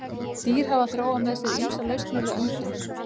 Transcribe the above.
Dýr hafa þróað með sér ýmsar lausnir við öndun.